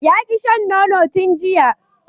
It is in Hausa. Ya ki shan nono tun jiya